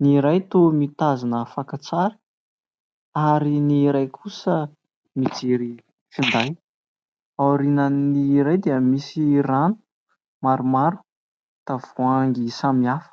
Ny iray toa mitazona fakan-tsary ary ny iray kosa mijery finday, aorianan' iray dia misy rano maromaro, tavoahangy samihafa.